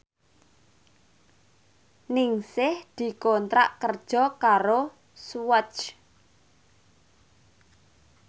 Ningsih dikontrak kerja karo Swatch